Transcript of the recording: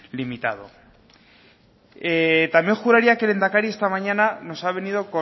limitado también juraría que el lehendakari esta mañana nos ha venido